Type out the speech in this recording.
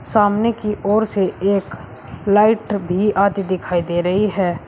सामने की ओर से एक लाइट भी आती दिखाई दे रही है।